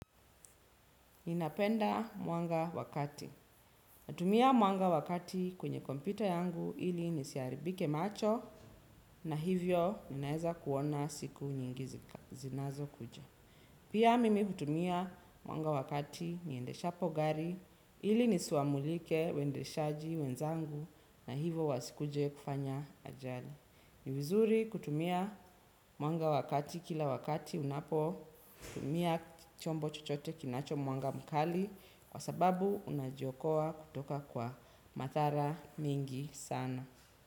Ninapenda mwanga wa kati. Natumia mwanga wa kati kwenye kompyuta yangu ili nisiharibike macho na hivyo ninaeza kuona siku nyingi zinazokuja. Pia mimi hutumia mwanga wa kati niendeshapo gari ili nisiwamulike waendeshaji wenzangu na hivo wasikuje kufanya ajali. Ni vizuri kutumia mwanga wa kati kila wakati unapotumia chombo chochote kinacho mwanga mkali kwa sababu unajiokoa kutoka kwa madhara mingi sana.